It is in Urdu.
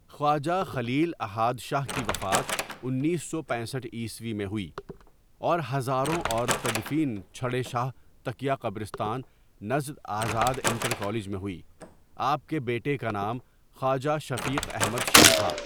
خواجہ خلیل احإد شاہ کی وفات انیس سو پینسٹھ عیسوی میں ہوئی اور ہزاروں اور تدفین چھڑے شاہ تکیہ قبرستان نزد آزاد انٹر کالج میں ہوئی آپ کے بیٹے کا نام خواجہ شفیق احمد شاہ تھا.